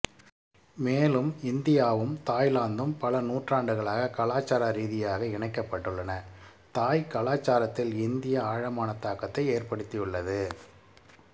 மேலும் இந்தியாவும் தாய்லாந்தும் பல நூற்றாண்டுகளாக கலாச்சார ரீதியாக இணைக்கப்பட்டுள்ளன தாய் கலாச்சாரத்தில் இந்தியா ஆழமான தாக்கத்தை ஏற்படுத்தியுள்ளது